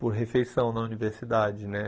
por refeição na universidade, né?